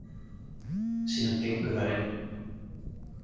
Síðan gengu þær inn.